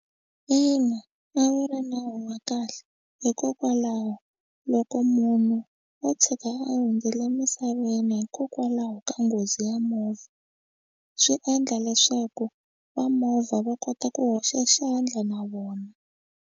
Ina, a wu ri nawu wa kahle hikokwalaho loko munhu o tshuka a hundzile emisaveni hikokwalaho ka nghozi ya movha swi endla leswaku va movha va kota ku hoxa xandla na vona.